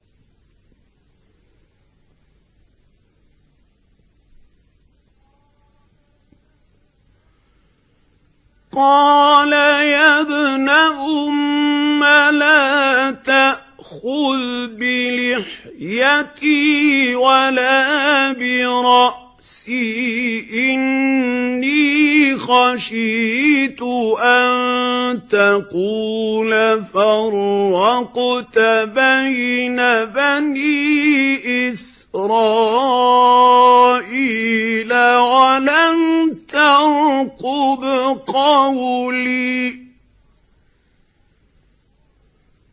قَالَ يَا ابْنَ أُمَّ لَا تَأْخُذْ بِلِحْيَتِي وَلَا بِرَأْسِي ۖ إِنِّي خَشِيتُ أَن تَقُولَ فَرَّقْتَ بَيْنَ بَنِي إِسْرَائِيلَ وَلَمْ تَرْقُبْ قَوْلِي